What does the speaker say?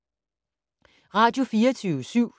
Radio24syv